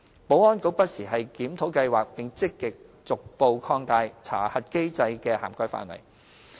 保安局不時檢討計劃，並積極逐步擴大查核機制的涵蓋範圍。